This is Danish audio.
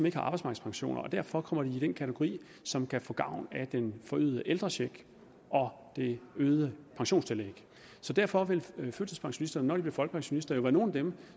ikke har arbejdsmarkedspensioner og derfor kommer de i den kategori som kan få gavn af den forøgede ældrecheck og det øgede pensionstillæg derfor vil førtidspensionisterne når de bliver folkepensionister jo være nogle af dem